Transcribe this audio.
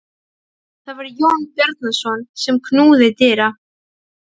Það var Jón Bjarnason sem knúði dyra.